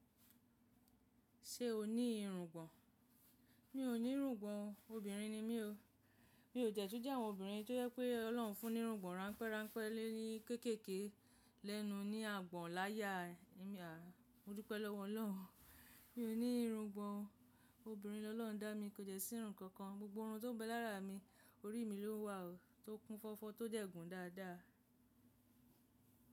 Ṣé o ní irungbọ̀n? Mi ò ní irungbọ̀n o, obìnrin ni mí o. Mi ò jẹ̀tú jẹ́ àwọn obìnrin tó yẹ́ pé Ọlọ́run fún ní irungbọ̀n ráńpẹ́ ráńpẹ́ lé ní kéékèèké lẹ́nu ní àgbọ̀n láya. Mo dúpẹ́ lọ́wọ́ Ọlọ́run. Mi ò ní irungbọ̀n o. Obìnrin ni Ọlọ́run dá mi, kò de sí irun kankan. Gbogbo irun tó bẹ lára mi, orí mi ló ń wà ó, tó kún fọ́fọ́, tó de gùn dáadáa.